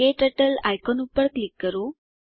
ક્ટર્ટલ icon પર click કરો